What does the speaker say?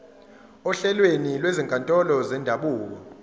ohlelweni lwezinkantolo zendabuko